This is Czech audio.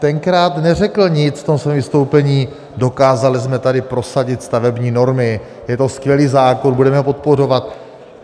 Tenkrát neřekl nic v tom svém vystoupení: Dokázali jsme tady prosadit stavební normy, je to skvělý zákon, budeme ho podporovat.